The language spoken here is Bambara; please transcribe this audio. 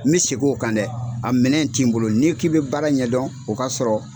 N bɛ segin o kan dɛ a minɛn le ti n bolo n'i k'i bɛ baara ɲɛdɔn o k'a sɔrɔ